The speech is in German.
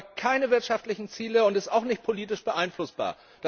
Sie verfolgt keine wirtschaftlichen Ziele und ist auch nicht politisch beeinflussbar.